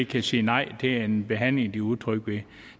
kan sige nej til en behandling de er utrygge ved